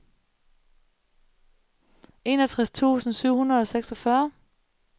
enogtres tusind syv hundrede og seksogfyrre